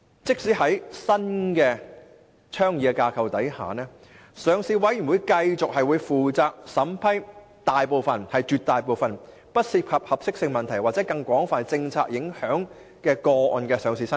在新倡議的架構下，上市委員會將繼續負責審批大部分不涉及合適性問題或更廣泛政策影響的個案的上市申請。